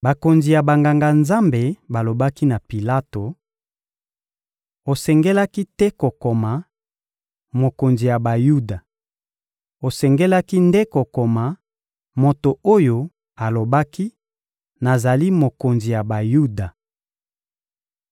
Bakonzi ya Banganga-Nzambe balobaki na Pilato: — Osengelaki te kokoma: «Mokonzi ya Bayuda;» osengelaki nde kokoma: «Moto oyo alobaki: ‹Nazali mokonzi ya Bayuda.›»